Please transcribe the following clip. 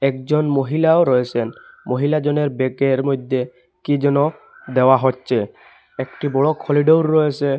একজন মহিলাও রয়েসেন মহিলা জনের ব্যাক -এর মইদ্যে কী যেন দেওয়া হচ্ছে একটি বড় খলিডোর রয়েসে।